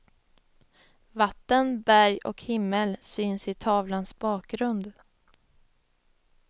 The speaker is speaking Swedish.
Vatten, berg och himmel syns i tavlans bakgrund.